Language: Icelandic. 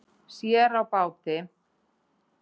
Sér á báti